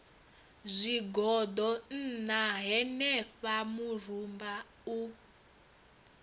zwigoḓo ṋna henefha murumba u